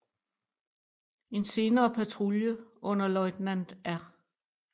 En senere patrulje under løjtnant R